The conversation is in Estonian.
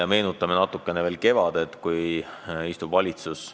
Aga need takistused ei saa olla sellised, et vähendatakse piiriehituse mahtusid nii drastiliselt.